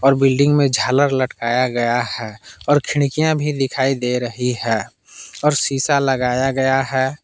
और बिल्डिंग में झालर लटकाया गया है और खिड़कियां भी दिखाई दे रही है और शीशा लगाया गया है।